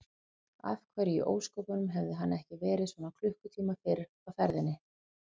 Af hverju í ósköpunum hafði hann ekki verið svona klukkutíma fyrr á ferðinni?